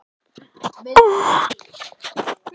Elsku Svava frænka.